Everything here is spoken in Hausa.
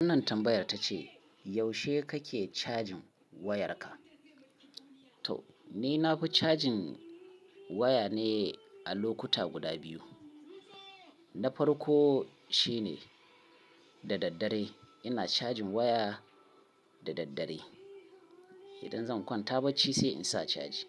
Wannan tambayar ta ce yaushe kake cajin wayarka? To ni na fi cajin waya ne a lokuta guda biyu. Na farko shine da daddare ina cajin waya da daddare. Idan zan kwanta bacci sai in sa caji.